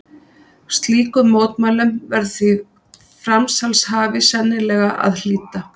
Slíkum mótmælum verður því framsalshafi sennilega að hlíta.